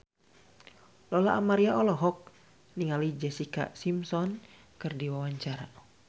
Lola Amaria olohok ningali Jessica Simpson keur diwawancara